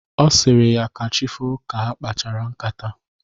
Ọ sịrị ya ka chi foo ka ha kpachara ṅkátá.